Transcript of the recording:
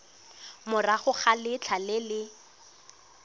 morago ga letlha le le